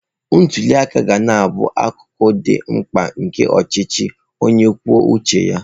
Ntuli aka ga na-abụ akụkụ dị mkpa nke ọchịchị onye kwuo uche ya.